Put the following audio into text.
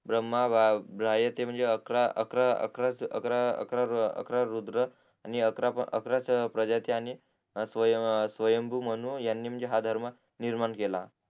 ब्रम्हा ब्राह्यते म्हणजे अकरा अकरा अकरा अकरा अकरा अकरा अकरा रुद्र आणि अकरा अकरा प्रजाती आणि स्वयंभू म्हणू यांनी म्हणजे हा धर्म निर्माण केला